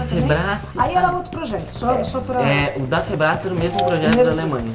Aí era outro projeto, só só para... Eh... O da era o mesmo projeto da Alemanha.